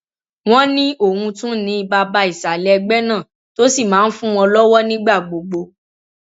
wọn ní òun tún ni bàbá ìsàlẹ ẹgbẹ náà tó sì máa ń fún wọn lọwọ nígbà gbogbo